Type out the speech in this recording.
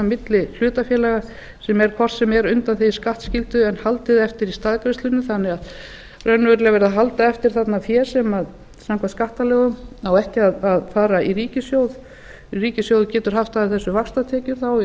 milli hlutafélaga sem eru hvort sem er undanþegin skattskyldu en haldið eftir í staðgreiðslunni þannig að raunverulega er verið að halda eftir þarna fé sem samkvæmt skattalögum á ekki að fara í ríkissjóð ríkissjóður getur haft af þessu vaxtatekjur þá í